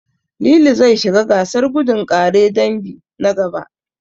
Lili zai shiga gasar gudun ƙare dangi, na gaba.